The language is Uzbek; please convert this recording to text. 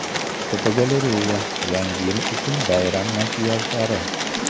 Fotogalereya: Yangi yil uchun bayram makiyajlari.